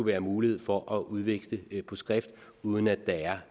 være mulighed for at udveksle på skrift uden at der er